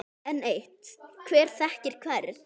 Enn eitt: Hver þekkir hvern?